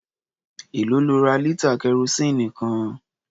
Èlòó lo ra lítà kẹrosíìnì kan?